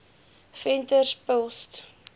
venterspost